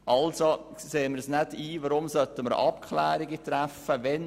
Deshalb sehen wir nicht ein, weshalb wir Abklärungen treffen sollten.